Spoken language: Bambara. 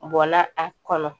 Bɔla a kɔnɔ